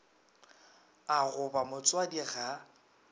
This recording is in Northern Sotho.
a go ba motswadi ga